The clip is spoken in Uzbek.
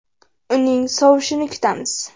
Uning sovushini kutamiz.